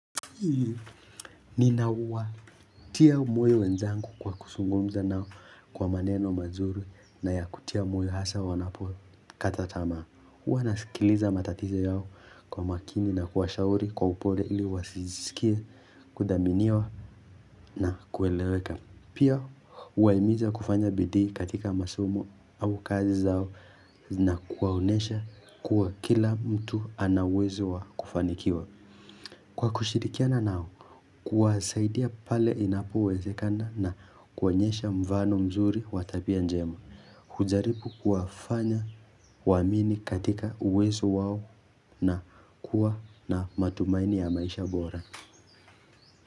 Nina uwa Tia moyo wenzangu kwa kuzungumza nao kwa maneno mazuri na ya kutia moyo hasa wanapo kata tamaa huwa nasikiliza matatizo yao kwa makini na kuwashauri kwa upole ili wasisikie kudhaminiwa na kueleweka Pia huwaimiza kufanya bidii katika masomo au kazi zao na kuwaonesha kuwa kila mtu ana uwezo wa kufanikiwa Kwa kushirikiana nao kuwasaidia pale inapowezekana na kuonyesha mfano mzuri wa tabia njema hujaribu kuwafanya waamini katika uwezo wao na kuwa na matumaini ya maisha bora.